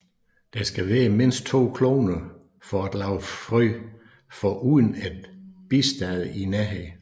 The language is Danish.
Der skal være mindst to kloner for at lave frø foruden et bistade i nærheden